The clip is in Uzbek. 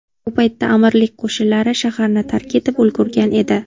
Bu paytda amirlik qo‘shinlari shaharni tark etib ulgurgan edi.